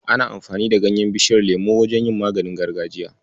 Ana amfani da ganyen Bishiyar lemo wajen yin maganin gargajiya.